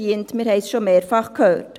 Wir haben es schon mehrfach gehört.